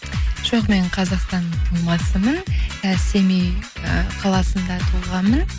жоқ мен қазақстанның тумасымын і семей ы қаласында туғанмын